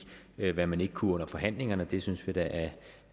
hvad man ikke kunne under forhandlingerne det synes vi da